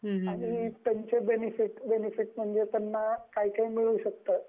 आणि त्यांचे बेनिफिट्स म्हणजे त्यांना काय काय मिळू शकतं